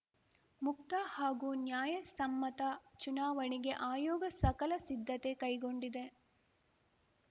ಮುಕ್ತ ಹಾಗೂ ನ್ಯಾಯಸಮ್ಮತ ಚುನಾವಣೆಗೆ ಆಯೋಗ ಸಕಲ ಸಿದ್ಧತೆ ಕೈಗೊಂಡಿದೆ